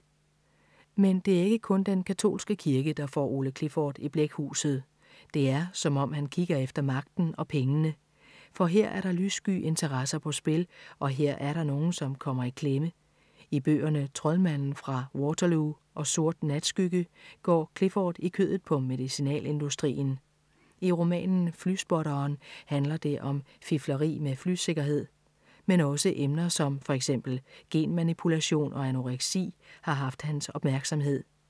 Men det er ikke kun den katolske kirke, der får Ole Clifford i blækhuset. Det er, som om han kigger efter magten og pengene. For her er der lyssky interesser på spil og her er der er nogen, som kommer i klemme. I bøgerne Troldmanden fra Waterloo og Sort natskygge går Clifford i kødet på medicinalindustrien. I romanen Flyspotteren handler det om fifleri med flysikkerhed. Men også emner som for eksempel genmanipulation og anoreksi har haft hans opmærksomhed.